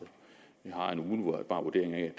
har en umiddelbar vurdering af at